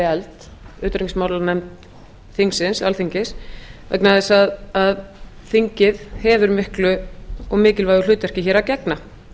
efld utanríkismálanefnd þingsins alþingis vegna þess að þingið hefur miklu og mikilvægu hlutverki hér að gegna